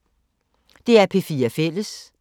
DR P4 Fælles